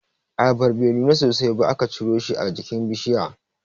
Ayabar bai nuna sosai ba aka ciro shi a jikin bishiya.